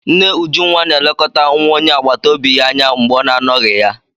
Nne Ujunwa na-elekọta nwa onye agbata obi ya anya mgbe ọ na-anọghị ya.